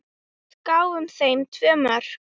Við gáfum þeim tvö mörk.